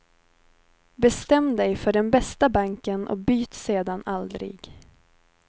Bestäm dig för den bästa banken och byt sedan aldrig.